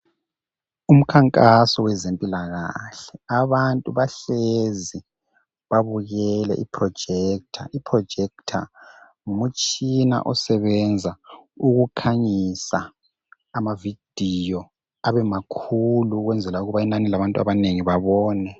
Umkhankaso wezempilakahle. Abantu bahlezi babukele iprojector. Iprojector ngumtshina osebenza ukukhanyisa ama video abemakhulu ukwenzela ukuba inani labantu abanengi babone.